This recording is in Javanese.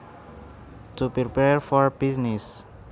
To prepare for business